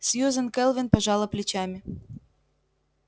сьюзен кэлвин пожала плечами